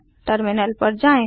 terminal पर जाएँ